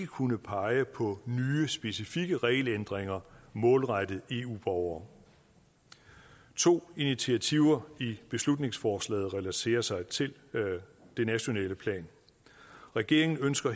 kunnet pege på nye specifikke regelændringer målrettet eu borgere to initiativer i beslutningsforslaget relaterer sig til det nationale plan regeringen ønsker